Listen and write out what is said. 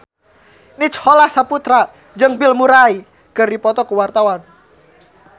Nicholas Saputra jeung Bill Murray keur dipoto ku wartawan